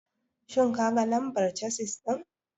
Ka ga lambar casis ɗin?